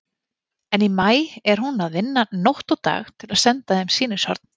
En í maí er hún að vinna nótt og dag til að senda heim sýnishorn.